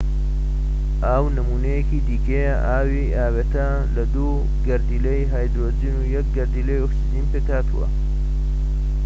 ئاو نموونەیەکی دیکەیە ئاوی ئاوێتە لە دوو گەردیلەی هایدرۆجین و یەک گەردیلەی ئۆکسجین پێکهاتووە